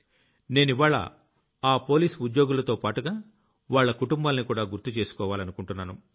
నేనివ్వాళ్ల ఆ పోలీస్ ఉద్యోగులతోపాటుగా వాళ్ల కుటుంబాల్నికూడా గుర్తు చేసుకోవాలనుకుంటున్నాను